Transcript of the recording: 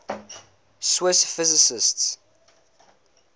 swiss physicists